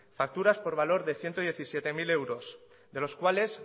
facturas por valor de ciento diecisiete mil euros de los cuales